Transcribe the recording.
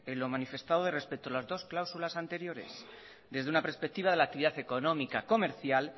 lo manifestado respecto a las dos cláusulas anteriores desde una perspectiva de la actividad económica comercial